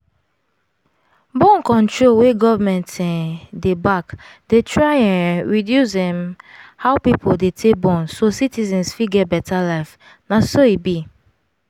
born -control wey government um dey back dey try um reduce um how people dey take born so citizens fit get better life na so e be